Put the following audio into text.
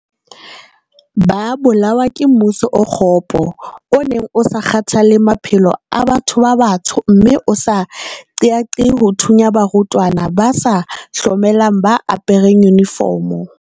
Ba bolawa ke mmuso o kgopo o neng o sa kgathalle maphelo a batho ba batsho mme o sa qeaqee ho thunya barutwana ba sa hlomelang ba apereng yunifomo.